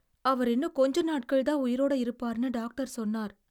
அவர் இன்னும் கொஞ்ச நாட்கள்தான் உயிரோடு இருப்பார்னு டாக்டர் சொன்னார்.